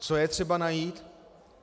Co je třeba najít?